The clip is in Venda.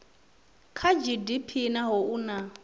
kha gdp naho u na